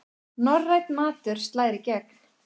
Norrænn matur slær í gegn